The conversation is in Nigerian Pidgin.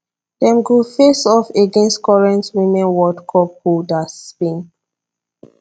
dem go face off against current women world cup holders spain